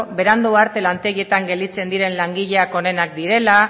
berandu arte lantegietan gelditzen diren langileak onenak direla